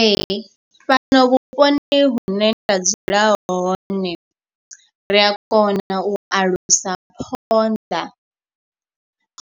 Ee fhano vhuponi hune nda dzula hone, ri a kona na u alusa phonḓa.